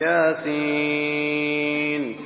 يس